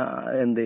ആ എന്ത്